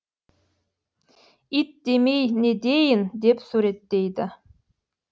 ит демей не дейін деп суреттейді